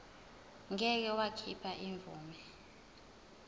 ngeke wakhipha imvume